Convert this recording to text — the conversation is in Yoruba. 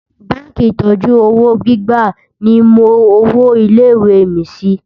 bánkì ìtọjú òwò gbígbà ní mó òwò ilé ìwé mí Si